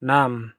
Naam,